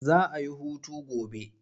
Za a yi hutu gobe.